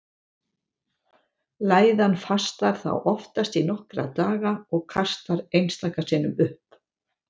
Læðan fastar þá oftast í nokkra daga og kastar einstaka sinnum upp.